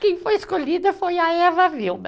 Quem foi escolhida foi a Eva Vilma.